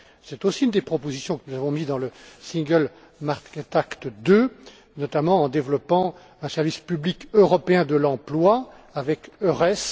C'est aussi une des propositions que nous avons avancée dans le Single Market Act II, notamment en développant un service public européen de l'emploi, avec Eures.